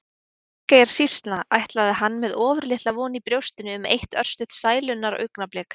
Til Þingeyjarsýslna ætlaði hann með ofurlitla von í brjóstinu um eitt örstutt sælunnar augnablik.